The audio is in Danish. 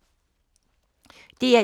DR1